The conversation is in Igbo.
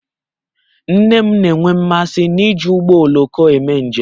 Nne m na-enwe mmasị n'iji ụgbọ oloko eme njem